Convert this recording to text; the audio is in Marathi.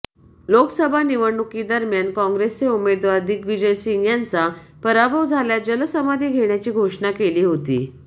लोकसभा निवडणुकीदरम्यान काँग्रेसचे उमेदवार दिग्वीजय सिंह यांचा पराभव झाल्यास जलसमाधी घेण्याची घोषणा केली होती